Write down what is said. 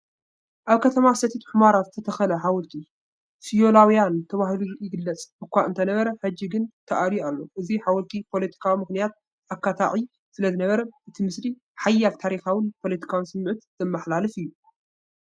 ኣብ ከተማ ሰቲት ሑመራ ዝተተኽለ ሓወልቲ፣ ስዮላዊያን ተባሂሉ ይግለጽ እኳ እንተነበረ፡ ሕጂ ግን ተኣልዩ ኣሎ። እዚ ሓወልቲ ብፖለቲካዊ ምኽንያት ኣካታዒ ስለዝነበረ፡ እቲ ምስሊ ሓያል ታሪኻውን ፖለቲካውን ስምዒት ዘመሓላልፍ እዩ።